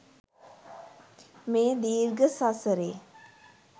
මේ දීර්ඝ සසරේ